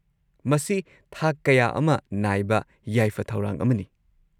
ꯃꯁꯤ ꯊꯥꯛ ꯀꯌꯥ ꯑꯃ ꯅꯥꯏꯕ ꯌꯥꯏꯐ ꯊꯧꯔꯥꯡ ꯑꯃꯅꯤ꯫